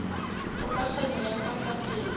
kgokagano ya ka fa teng